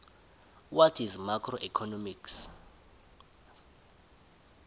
what is macroeconomics